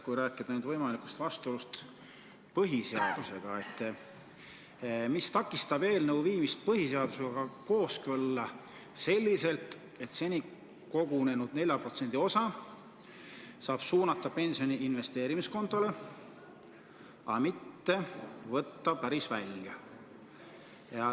Kui nüüd rääkida võimalikust vastuolust põhiseadusega, siis mis takistab eelnõu viimist põhiseadusega kooskõlla selliselt, et seni kogunenud 4% osa saab suunata pensioni investeerimiskontole, mitte välja võtta?